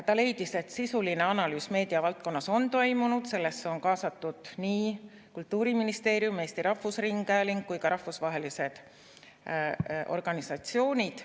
Ta leidis, et sisuline analüüs meediavaldkonnas on toimunud, sellesse on kaasatud Kultuuriministeerium, Eesti Rahvusringhääling ja ka rahvusvahelised organisatsioonid.